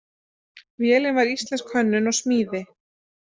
Vélin var íslensk hönnun og smíði.